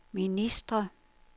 ministre